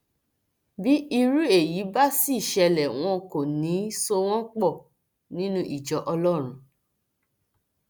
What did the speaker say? bí irú èyí bá sì ṣẹlẹ wọn kò ní í so wọn pọ nínú ìjọ ọlọrun